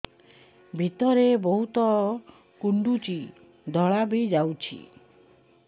ଭିତରେ ବହୁତ କୁଣ୍ଡୁଚି ଧଳା ବି ଯାଉଛି